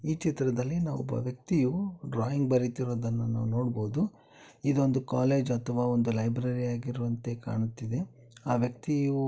ಈ ಚಿತ್ರದಲ್ಲಿ ನಾವು ಒಬ್ಬ ವ್ಯಕ್ತಿಯು ಡ್ರಾಯಿಂಗ್ ಬರೆಯುತ್ತಿರುವುದನ್ನು ನೋಡಬಹುದು ಇದೊಂದು ಕಾಲೇಜ್ ಅಥವಾ ಒಂದು ಲೈಬ್ರರಿ ಆಗಿರುವಂತೆ ಕಾಣುತ್ತಿದೆ. ಆ ವ್ಯಕ್ತಿಯು--